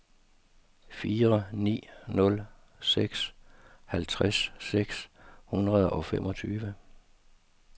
fire ni nul seks halvtreds seks hundrede og femogtyve